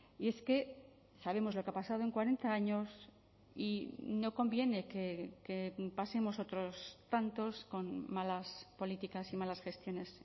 y es que sabemos lo que ha pasado en cuarenta años y no conviene que pasemos otros tantos con malas políticas y malas gestiones